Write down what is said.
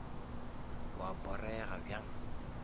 wa porega bjang